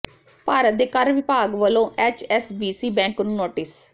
ਭਾਰਤ ਦੇ ਕਰ ਵਿਭਾਗ ਵੱਲੋਂ ਐਚਐਸਬੀਸੀ ਬੈਂਕ ਨੂੰ ਨੋਟਿਸ